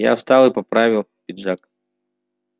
я встал и поправил пиджак